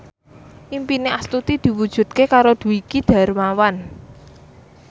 impine Astuti diwujudke karo Dwiki Darmawan